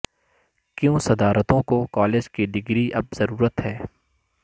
کیوں صدارتوں کو کالج کی ڈگری اب ضرورت ہے